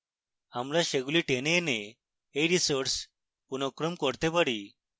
আমরা সেগুলি টেনে এনে we resources পুনঃক্রম করতে পারি